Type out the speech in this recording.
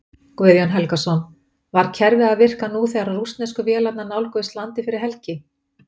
Guðjón Helgason: Var kerfið að virka nú þegar rússnesku vélarnar nálguðust landið fyrir helgi?